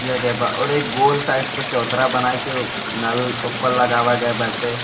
किया गया बा और एक गोल साइड के चाबुत्तरा बनाये के नल उ पर लगावा गवा बाटे।